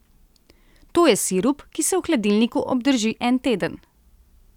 To je sirup, ki se v hladilniku obdrži en teden.